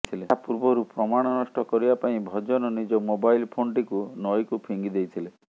ଏହା ପୂର୍ବରୁ ପ୍ରମାଣ ନଷ୍ଟ କରିବା ପାଇଁ ଭଜନ ନିଜ ମୋବାଇଲ୍ ଫୋନ୍ଟିକୁ ନଈକୁ ଫିଙ୍ଗି ଦେଇଥିଲେ